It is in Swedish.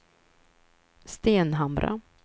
Stenhamra